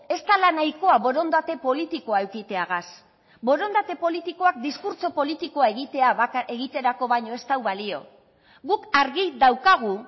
ez dela nahikoa borondate politikoa edukiteagaz borondate politikoak diskurtso politikoa egiterako baino ez du balio guk argi daukagu